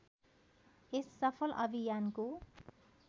यस सफल अभियानको